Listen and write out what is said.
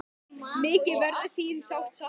Mikið verður þín sárt saknað.